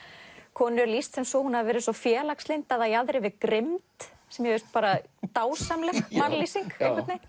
konu er lýst svo að hún hafi verið svo félagslynd að það jaðri við grimmd sem mér finnst dásamleg mannlýsing